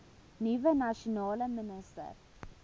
nuwe nasionale minister